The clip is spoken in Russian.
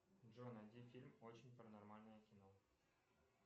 джой найди фильм очень паранормальное кино